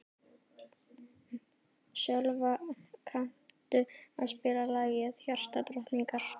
Sölva, kanntu að spila lagið „Hjartadrottningar“?